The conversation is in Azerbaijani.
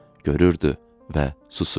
Görürdü və susurdu.